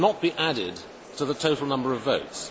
It should not be added to the total number of votes.